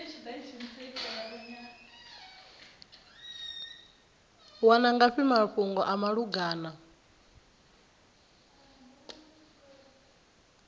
wana ngafhi mafhungo a malugana